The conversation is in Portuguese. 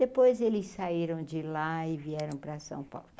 Depois eles saíram de lá e vieram para São Paulo.